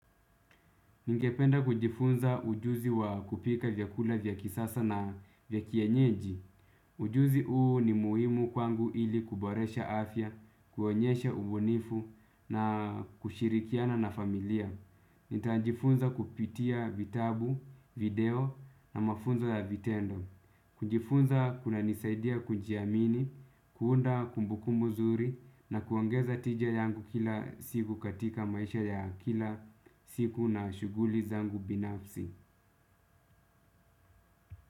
Ningependa kujifunza ujuzi wa kupika vyakula vya kisasa na vya kienyeji. Ujuzi huu ni muhimu kwangu ili kuboresha afya, kuonyesha ubunifu na kushirikiana na familia. Nitajifunza kupitia vitabu, video na mafunzo ya vitendo. Kujifunza kunanisaidia kujiamini, kuunda kumbuku nzuri na kuongeza tija yangu kila siku katika maisha ya kila siku na shuguli zangu binafsi.